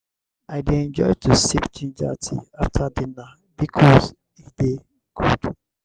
i dey enjoy to sip ginger tea after dinner bikos e dey good.